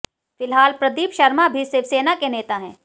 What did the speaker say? फिलहाल प्रदीप शर्मा भी शिवसेना के नेता हैं